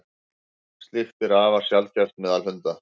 slíkt er afar sjaldgæft meðal hunda